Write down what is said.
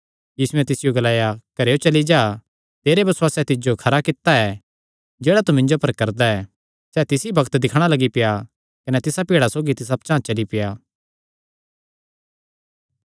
यीशुयैं तिसियो ग्लाया चली जा तेरे बसुआसे तिज्जो खरा कित्ता ऐ सैह़ ताह़लू ई दिक्खणा लग्गी पेआ कने तिसा भीड़ा सौगी तिस पचांह़ चली पेआ